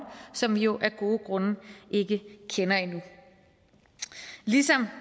som vi jo af gode grunde ikke kender endnu ligesom